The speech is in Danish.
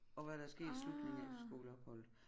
Og hvad der sket i slutningen af efterskoleopholdet